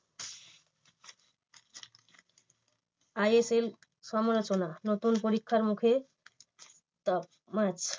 ISL সমালোচনা নতুন পরীক্ষার মুখে